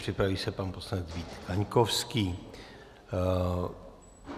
Připraví se pan poslanec Vít Kaňkovský.